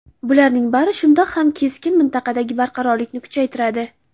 Bularning bari shundoq ham keskin mintaqadagi beqarorlikni kuchaytiradi.